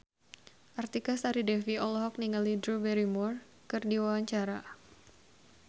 Artika Sari Devi olohok ningali Drew Barrymore keur diwawancara